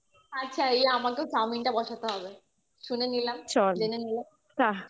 আচ্ছা এই আমাকেও chowmein টা বসাতে হবে শুনে নিলাম জেনে নিলাম